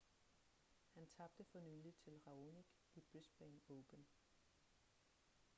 han tabte for nylig til raonic i brisbane open